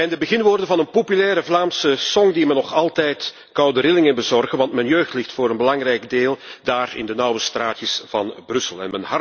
Het zijn de beginwoorden van een populair Vlaams lied dat me nog altijd koude rillingen bezorgen, want mijn jeugd ligt voor een belangrijk deel daar in de nauwe straatjes van Brussel.